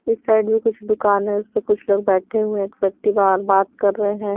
इस साइड भी कुछ दुकान है उस पर कुछ लोग बैठे हुए हैं एक व्यक्ति बार बात कर रहे हैं।